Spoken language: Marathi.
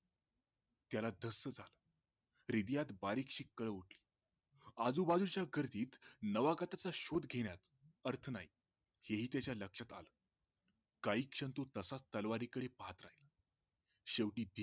त्याला धस्स झाल हृदयात बारीकशी कळ उठली आजूबाजूच्या गर्दीत नावागताचा शोध घेण्यात अर्थ नाही हे ही त्याच्या लक्षात आल काही क्षण तो तसाच तलवारीकडे पहात राहिला शेवटी